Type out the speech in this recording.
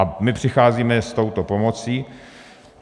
A my přicházíme s touto pomocí.